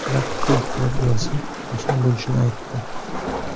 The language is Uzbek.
Naqd pul qilib bersa oson bo‘lishini aytdi.